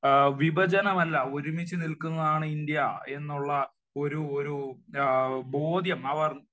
വിഭജനമല്ല ഒരുമിച്ച് നില്ക്കുന്നതാണ് ഇന്ത്യ എന്നുള്ള ഒരു ഒരു ബോധ്യം അവർ